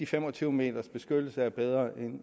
fem og tyve meters beskyttelse er bedre